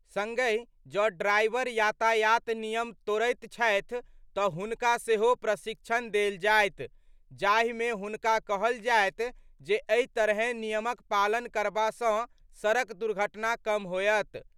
संगहि जँ ड्राइवर यातायात नियम तोड़ैत छथि तऽ हुनका सेहो प्रशिक्षण देल जायत, जाहि मे हुनका कहल जायत जे एहि तरहें नियमक पालन करबा सँ सड़क दुर्घटना कम होयत।